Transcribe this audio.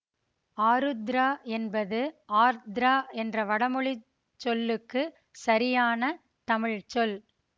ஆருத்ரா என்பது ஆர்த்ரா என்ற வடமொழி சொல்லுக்குச் சரியான தமிழ்ச்சொல்